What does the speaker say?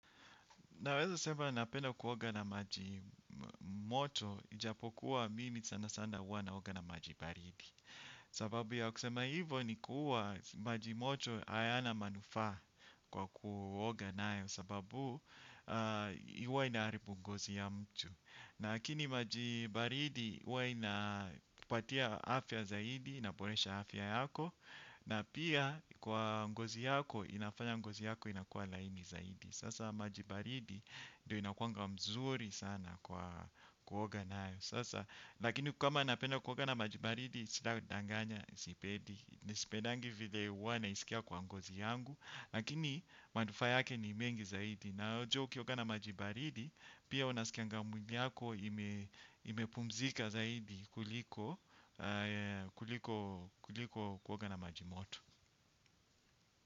Naweza sema napenda kuoga na majimoto, ijapokuwa mimi sana sana huwa naoga na majibaridi. Sababu ya kusema hivo ni kuwa majimoto hayana manufaa kwa kuoga nayo sababu huwa inaharibu ngozi ya mtu. Lakini maji baridi huwa inakupatia afya zaidi, inaboresha afya yako, na pia kwa ngozi yako, inafanya ngozi yako inakua laini zaidi. Sasa majibaridi ndio inakuanga mzuri sana kwa kuoga nayo. Sasa lakini kama napenda kuoga na majibaridi sita danganya sipedi. Nisipedangi vile huwa naisikia kwa ngozi yangu. Lakini manufaa yake ni mengi zaidi. Na jua ukioga na majibaridi pia unasikianga mwili yako imepumzika zaidi kuliko kuoga na majimoto.